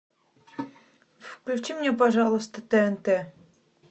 включи мне пожалуйста тнт